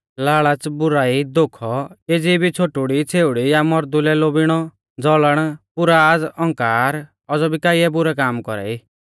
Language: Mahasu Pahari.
लाल़च़ बुराई धोखौ केज़ी भी छ़ोटुड़ीछ़ेउड़ी या मर्दू लै लोभीणौ ज़लन पुराज़ औंकार औज़ौ भी काइयै बुरै काम कौरा ई